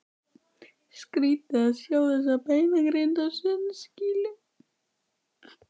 Skrýtið að sjá þessa beinagrind á sundskýlu!